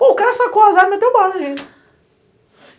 O cara sacou as armas e meteu bala na gente.